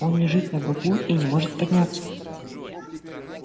он лежит на боку и не может подняться